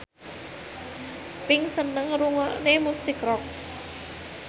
Pink seneng ngrungokne musik rock